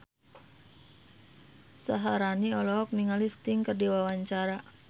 Syaharani olohok ningali Sting keur diwawancara